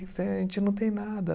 Eh, a gente não tem nada.